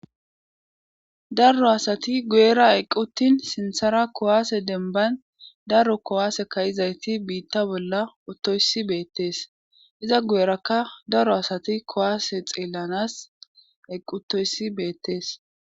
daro asati guyera equttin sinthara kowaase denbayn daro kowaase kayizayti biitta bolla ottoyssi beettees iza gu7erakka daro asati kowaase xeellanas eqqutoyssi beettees